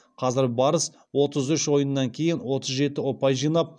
қазір барыс отыз үш ойыннан кейін отыз жеті ұпай жинап